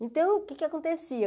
Então, o que é que acontecia?